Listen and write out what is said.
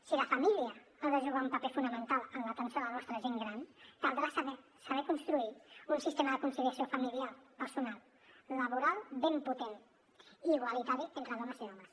si la família ha de jugar un paper fonamental en l’atenció a la nostra gent gran caldrà saber construir un sistema de conciliació familiar personal laboral ben potent i igualitari entre dones i homes